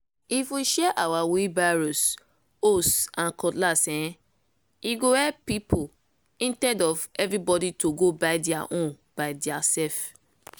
if we share our wheelbarrows hoes and cutlass eeh! e go help people intead of everybody to go buy dia own by diaself.